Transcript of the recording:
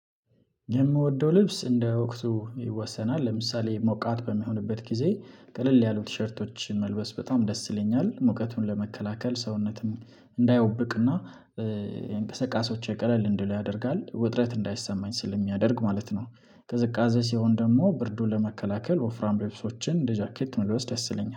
የምወደው ልብስ እንደ ወቅቱ ይወሰናል። ለምሳሌ ሞቃት በሚሆንበት ጊዜ ቀለል ያሉ ቲሸርቶችን መልበስ በጣም ደስ ይለኛል። ሙቀቱን ለመከላከል ሰውነትም እንዳያውብቅና የእንቅስቃሴዎቼ ቀለል እንዲሉ ያደርጋል። ውጥረት እንዳይሰማኝ ስለሚያደርግ ማለት ነው። ቅዝቃዜ ስሆን ደግሞ ብርዱን ለመከላከል ወፍራም ልብሶችን እንደ ጃኬት መልበስ ደስ ይለኛል።